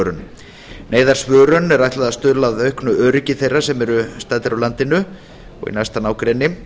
neyðarsímsvörun neyðarsvörun er ætlað að stuðla að auknu öryggi þeirra sem eru staddir á landinu og í næsta nágrenni